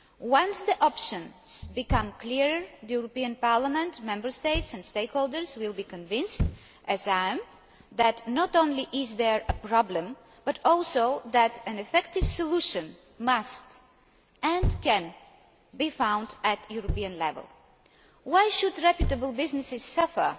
Once the options become clear, the European Parliament, Member States and stakeholders will be convinced, as I am, that not only is there a problem but also that an effective solution must, and can, be found at European level. Why should reputable businesses suffer